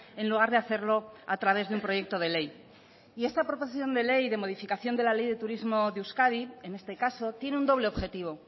en lugar de hacerlo a través de un proyecto de ley y esta proposición de ley de modificación de la ley de turismo de euskadi en este caso tiene un doble objetivo